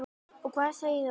Og hvað segir það okkur?